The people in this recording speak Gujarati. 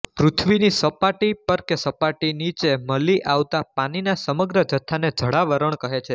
પૃથ્વીની સપાટી પર કે સપાટીની નીચે મલી આવતા પાનીના સમગ્ર જથ્થાને જળાવરણ કહે છે